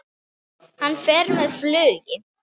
Hann fer með flugi.